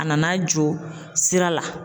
A nana jɔ sira la.